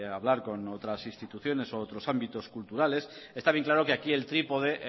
hablar con otras instituciones u otros ámbitos culturales está bien claro que aquí el trípode